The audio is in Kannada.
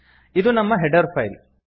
ಇದು ನಮ್ಮ ಹೆಡರ್ ಫೈಲ್